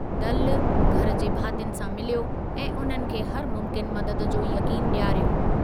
दलु घर जे भातियुनि सां मिलियो ऐं उन्हनि खे हर मुम्किन मददु जो यक़ीन ॾियारियो।